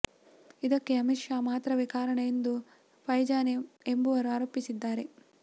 ಇದಕ್ಕೆ ಅಮಿತ್ ಶಾ ಮಾತ್ರವೇ ಕಾರಣ ಎಂದು ಫೈಜಾನ್ ಎಂಬುವರು ಆರೋಪಿಸಿದ್ದಾರೆ